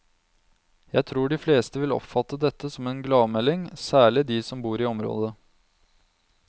Jeg tror de fleste vil oppfatte dette som en gladmelding, særlig de som bor i området.